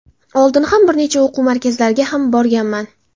Oldin ham bir necha o‘quv markazlariga ham borganman.